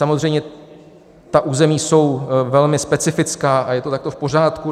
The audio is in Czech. Samozřejmě ta území jsou velmi specifická a je to takhle v pořádku.